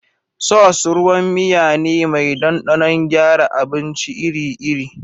Sauce ruwan miya ne mai ɗanɗanon gyara abinci ir ir